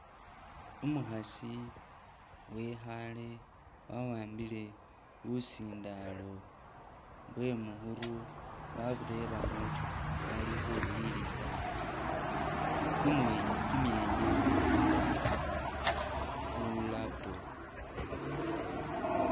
Umukhasi wekhaale wa'ambile busindalo bwe mukhuru wabureremo ali khu wuliliza kumwe kimwenya khu laptop.